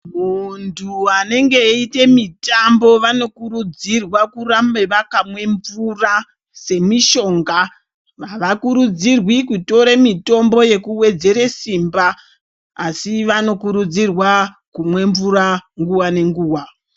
Muntu anenge eiite mitambo vanokurudzirwa kurambe vakamwe mvura semishonga. Havakurudzirwi kutore mitombo yekuwedzere simba asi vanokurudzirwa kumwa mvura nguwa nenguwa.